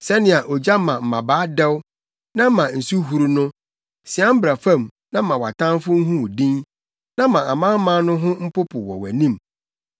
Sɛnea ogya ma mmabaa dɛw na ɛma nsu huru no, sian bra fam na ma wʼatamfo nhu wo din, na ma amanaman no ho mpopo wɔ wʼanim!